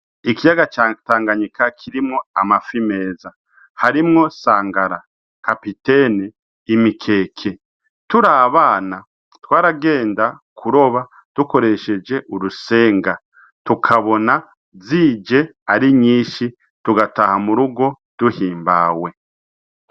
Ikiyaga ca Tanganyika kirimwo amafi meza, harimwo: sangara, kapitene, imikeke. Turi abana twaragenda kuroba dukoresheje urusenga, tukabona zije ari nyinshi tugataha mu rugo duhimbawe.